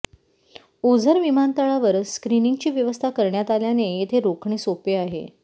ओझर विमानतळावर स्क्रिनिंगची व्यवस्था करण्यात आल्याने येथे रोखणे सोपे आहे